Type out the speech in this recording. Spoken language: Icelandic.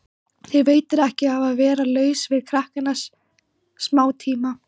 Þér veitir ekki af að vera laus við krakkana smátíma.